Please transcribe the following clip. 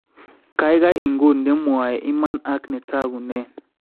Kaakaay, ikuun ne mwaaye imaan ak ne takune